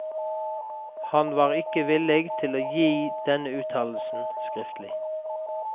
Han var ikke villig til å gi denne uttalelsen skriftlig.